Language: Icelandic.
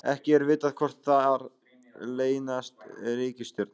Ekki er vitað hvort þar leynast reikistjörnur.